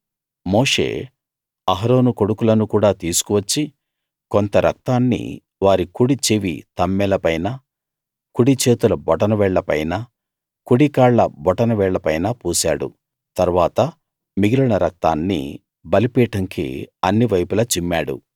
మోషే అహరోను కొడుకులను కూడా తీసుకు వచ్చి కొంత రక్తాన్ని వారి కుడి చెవి తమ్మెల పైనా కుడి చేతుల బొటనవేళ్ళ పైనా కుడి కాళ్ళ బొటన వేళ్ళ పైనా పూసాడు తరువాత మిగిలిన రక్తాన్ని బలిపీఠంకి అన్ని వైపులా చిమ్మాడు